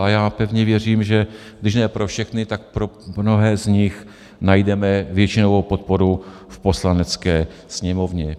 A já pevně věřím, že když ne pro všechny, tak pro mnohé z nich najdeme většinovou podporu v Poslanecké sněmovně.